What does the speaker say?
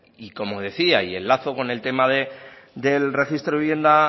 y como decía y enlazo con el tema del registro de vivienda